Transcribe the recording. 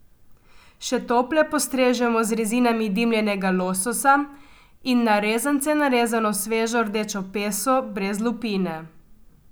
Še tople postrežemo z rezinami dimljenega lososa in na rezance narezano svežo rdečo peso brez lupine.